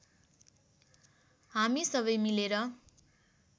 हामी सबै मिलेर